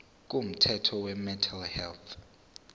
komthetho wemental health